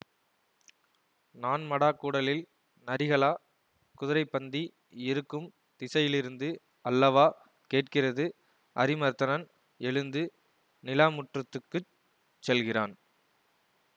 நான்மடாக்கூடலில் நரிகளா குதிரைப்பந்தி இருக்கும் திசையிலிருந்து அல்லவா கேட்கிறது அரிமர்த்தனன் எழுந்து நிலாமுற்றத்துக்குச் செல்கிறான்